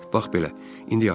Bax belə, indi yaxşıdır.